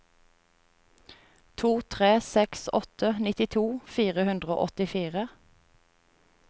to tre seks åtte nittito fire hundre og åttifire